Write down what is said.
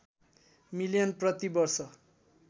million प्रति वर्ष